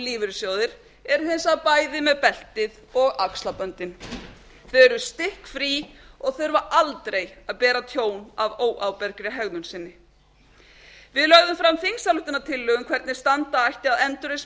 lífeyrissjóðir eru hins vegar bæði með beltið og axlaböndin þau eru stikkfrí og þurfa aldrei að bera tjón af óábyrgri hegðun sinni við lögðum fram þingsályktunartillögu um hvernig standa ætti að endurreisn